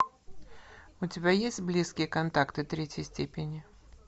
у тебя есть близкие контакты третьей степени